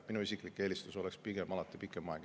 Minu isiklik eelistus oleks pigem alati pikem aeg.